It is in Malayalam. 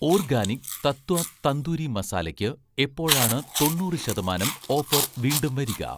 ഓർഗാനിക് തത്വ' തന്തൂരി മസാലയ്ക്ക് എപ്പോഴാണ് തൊണ്ണൂറ് ശതമാനം ഓഫർ വീണ്ടും വരിക?